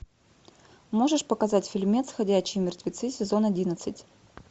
можешь показать фильмец ходячие мертвецы сезон одиннадцать